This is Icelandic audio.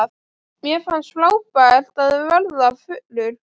Mér fannst frábært að verða fullur.